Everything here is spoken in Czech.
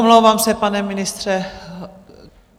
Omlouvám se, pane ministře.